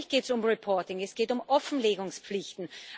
Und natürlich geht es um reporting es geht um Offenlegungspflichten.